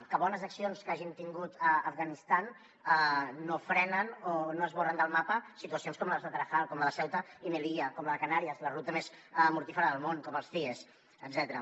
que bones accions que hagin tingut a afganistan no frenen o no esborren del mapa situacions com la de tarajal com les de ceuta i melilla com la de canàries la ruta més mortífera del món com els cies etcètera